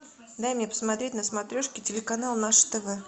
дай мне посмотреть на смотрешке телеканал наше тв